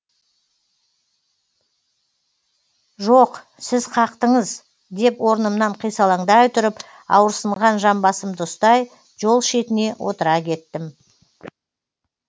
жоқ сіз қақтыңыз деп орнымнан қисалаңдай тұрып ауырсынған жамбасымды ұстай жол шетіне отыра кеттім